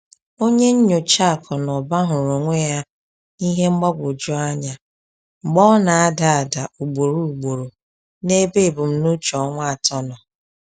Onye nyocha akụ na ụba hụrụ onwe ya n’ihe mgbagwoju anya mgbe ọ na-ada ada ugboro ugboro n’ebe ebumnuche ọnwa atọ nọ.